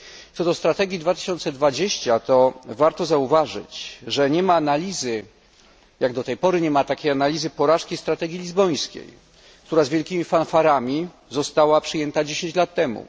Co do strategii 2020, to warto zauważyć, że jak do tej pory nie ma analizy porażki strategii lizbońskiej, która z wielkimi fanfarami została przyjęta 10 lat temu.